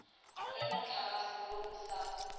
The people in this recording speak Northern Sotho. ge mohlagase wo o sa